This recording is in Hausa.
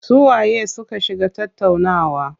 Su waye su ka shiga tattaunawa?